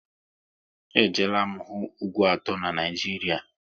E jeela m hụ ugwu atọ n'Naijiria